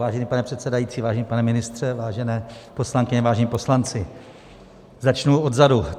Vážený pane předsedající, vážený pane ministře, vážené poslankyně, vážení poslanci, začnu odzadu.